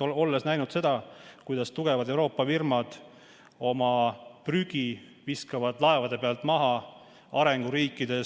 Olles näinud, kuidas tugevad Euroopa firmad viskavad oma prügi laevade pealt arenguriikide